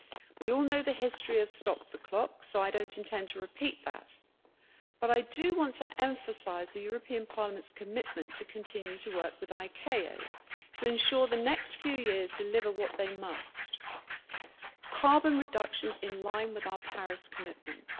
We all know the history of stop the clock', so I do not intend to repeat that, but I do want to emphasise the European Parliament's commitment to continuing to work with ICAO to ensure the next few years deliver what they must carbon reductions in line with our Paris commitments.